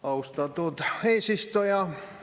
Austatud eesistuja!